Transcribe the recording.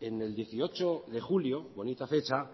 en el dieciocho de julio bonita fecha